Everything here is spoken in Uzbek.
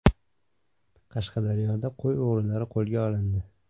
Qashqadaryoda qo‘y o‘g‘rilari qo‘lga olindi.